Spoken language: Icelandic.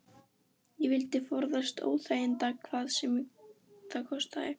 Ég vildi forðast óþægindi hvað sem það kostaði.